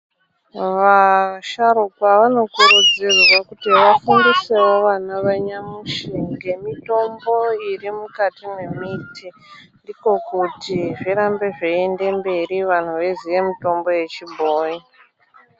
Vasharukwa vanokurudzirwa kuti vafundisewo vana vanyamushi ngemutombo irimukati mwemiti ndiko kuti zvirambe zveinde mberi vanhu veiziye mitombo yechibhoyi.